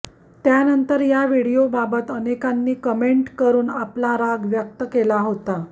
त्यानंतर या व्हिडीओबाबत अनेकांनी कमेंट करून आपला राग व्यक्त केला होता